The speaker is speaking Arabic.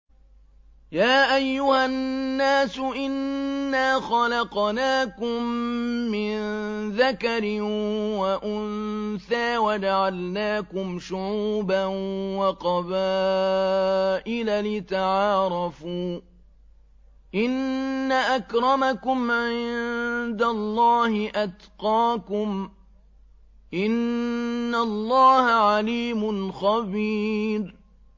يَا أَيُّهَا النَّاسُ إِنَّا خَلَقْنَاكُم مِّن ذَكَرٍ وَأُنثَىٰ وَجَعَلْنَاكُمْ شُعُوبًا وَقَبَائِلَ لِتَعَارَفُوا ۚ إِنَّ أَكْرَمَكُمْ عِندَ اللَّهِ أَتْقَاكُمْ ۚ إِنَّ اللَّهَ عَلِيمٌ خَبِيرٌ